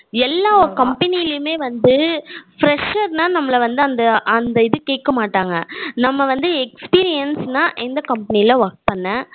எல்லா ஒரு company லயுமே வந்து fresher னா நம்மள வந்து அந்த அந்த இது கேக்க மாட்டாங்க நம்ம வந்து experience னா எந்த company ல work பண்ண